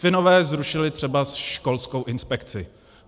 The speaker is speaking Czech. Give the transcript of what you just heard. Finové zrušili třeba školskou inspekci.